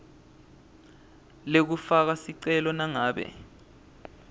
lekufaka sicelo nangabe